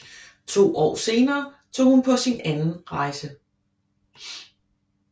To år senere tog hun på sin anden rejse